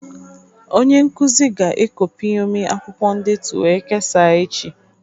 Onye nkuzi ga-e copyomi akwụkwọ ndetu wee kesaa echi